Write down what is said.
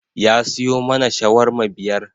Ya siyo mana shawarma biyar